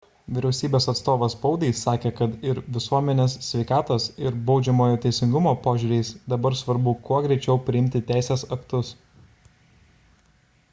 vyriausybės atstovas spaudai sakė kad ir visuomenės sveikatos ir baudžiamojo teisingumo požiūriais dabar svarbu kuo greičiau priimti teisės aktus